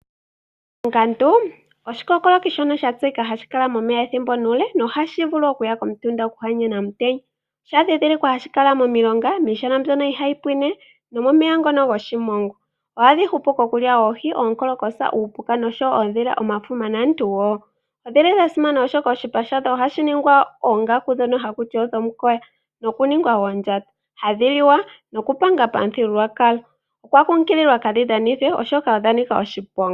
Oongandu oshikokoloki shono sha tseyika hadhi kala momeya ethimbo nuule nohashi vulu okuya komutunda okuhanyena omutenya. Osha dhidhilikwa hashi kala momulonga, miishana mbyono ohayi pwine nomomeya ngono goshimongwa. Ohadhi hupu kokulya oohi onkolokosa, uupuka noshowo oodhila, omafuma naantu wo. Odhili dha simana oshoka oshipa shadho ohashi ningwa oongaku dhono hakuti odhomukoya noku ningwa oondjato, hadhi liwa nokupanga pamuthigululwakalo. Okwa kunkililwa kadhi dhanithwe oshoka odha nika oshiponga.